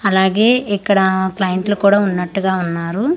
అలాగే ఇక్కడ క్లయింట్లు కూడా ఉన్నటు గా ఉన్నారు.